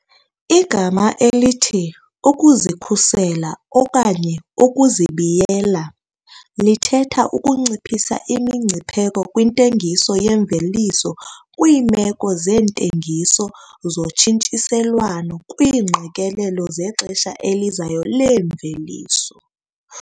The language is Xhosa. Igama elithi 'ukuzikhusela okanye ukuzibiyela' lithetha ukunciphisa imingcipheko kwintengiso yemveliso kwiimeko zeentengiso zotshintshiselwano kwiingqikelelo zexesha elizayo leemveliso.